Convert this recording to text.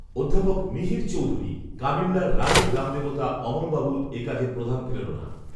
অধ্যাপক মিহির চৌধুরী, কামিল্যার রাঢ়ের গ্রামদেবতা অমলবাবুর এ কাজের প্রধান প্রেরণা